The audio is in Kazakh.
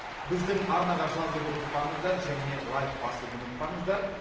біздің арнаға жазуды ұмытпаңыздар және лайк басуды ұмытпаңыздар